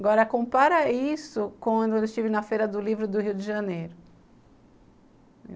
Agora, compara isso com quando eu estive na Feira do Livro do Rio de Janeiro.